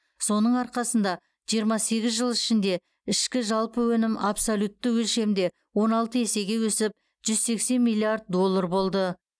соның арқасында жиырма сегіз жыл ішінде ішкі жалпы өнім абсолютті өлшемде он алты есеге өсіп жүз сексен миллиард доллар болды